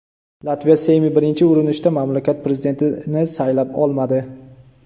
Latviya Seymi birinchi urinishda mamlakat prezidentini saylay olmadi.